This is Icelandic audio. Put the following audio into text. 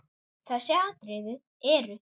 Þessi atriði eru